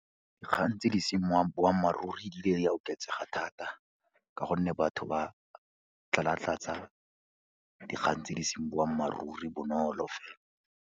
Dikgang tse di seng boammaaruri di ile di a oketsega thata ka gonne batho ba tlalatlatsa dikgang tse di seng boammaaruri bonolo.